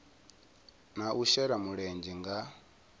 na u shela mulenzhe nga